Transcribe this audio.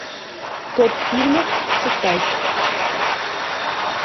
топ фильмов китай